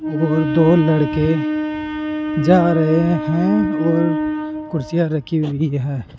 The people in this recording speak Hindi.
और दो लड़के जा रहे हैं और कुर्सियां रखी हुई है।